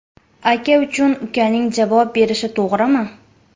Aka uchun ukaning javob berishi to‘g‘rimi?